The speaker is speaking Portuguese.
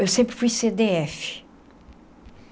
Eu sempre fui cê dê efe.